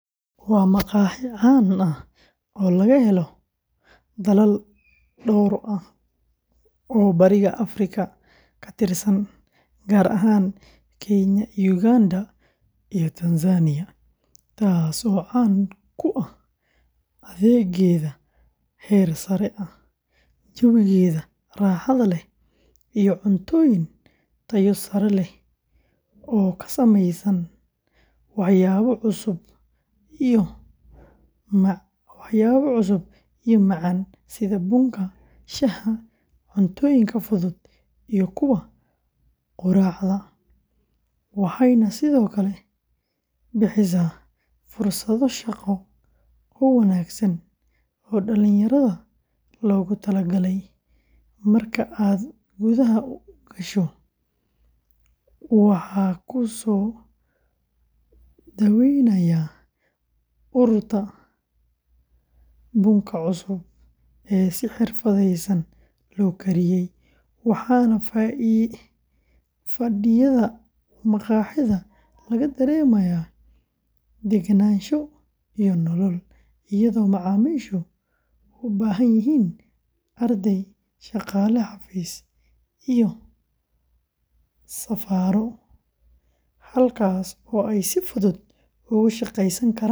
Waa maqaaxi caan ah oo laga helo dalal dhowr ah oo Bariga Afrika ka tirsan, gaar ahaan Kenya, Uganda, iyo Rwanda, taas oo caan ku ah adeeggeeda heer sare ah, jawigeeda raaxada leh, iyo cuntooyin tayo sare leh oo ka samaysan waxyaabo cusub iyo macaan sida bunka, shaaha, cuntooyinka fudud iyo kuwa quraacda, waxayna sidoo kale bixisaa fursado shaqo oo wanaagsan oo dhallinyarada loogu tala galay; marka aad gudaha u gasho, waxaa ku soo dhawaynaya urta bunka cusub ee si xirfadeysan loo kariyay, waxaana fadhiyada maqaaxida laga dareemayaa degganaansho iyo nolol, iyadoo macaamiisha u badan yihiin arday, shaqaale xafiis, iyo safarro, halkaas oo ay si fudud ugu shaqeysan karaan, ugu akhrisan karaan.